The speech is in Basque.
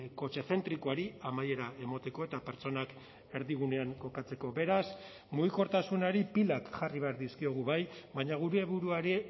kotxezentrikoari amaiera emateko eta pertsonak erdigunean kokatzeko beraz mugikortasunari pilak jarri behar dizkiogu bai baina gure buruari